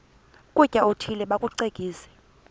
ukutya okuthile bakucekise